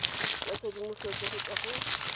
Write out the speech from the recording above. ya tshedimosetso go tswa go